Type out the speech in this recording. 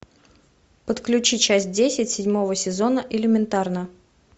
подключи часть десять седьмого сезона элементарно